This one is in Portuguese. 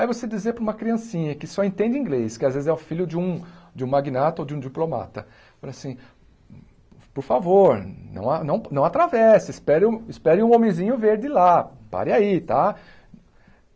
Aí você dizer para uma criancinha que só entende inglês, que às vezes é o filho de um de um magnata ou de um diplomata, falei assim por favor, não a não não atravesse, espere espere um homenzinho verde lá, pare aí, tá?